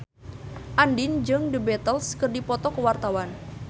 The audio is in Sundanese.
Andien jeung The Beatles keur dipoto ku wartawan